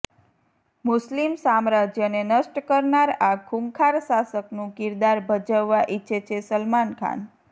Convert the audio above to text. મુસ્લિમ સામ્રાજ્યને નષ્ટ કરનાર આ ખૂંખાર શાસકનું કિરદાર ભજવવા ઇચ્છે છે સલમાન ખાન